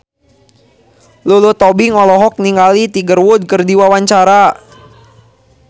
Lulu Tobing olohok ningali Tiger Wood keur diwawancara